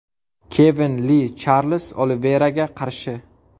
Kevin Li Charlz Oliveyraga qarshi.